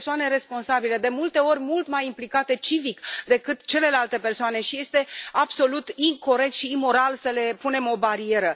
Sunt persoane responsabile, de multe ori mult mai implicate civic decât celelalte persoane și este absolut incorect și imoral să le punem o barieră.